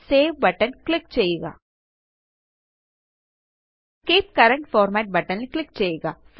save button click ചെയ്യുക keep current format button ല് click ചെയ്യുക